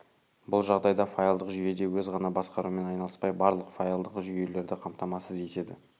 бұл жағдайда файлдық жүйеде өз ғана басқарумен айналыспай барлық файлдық жүйелерді қамтамасыз етеді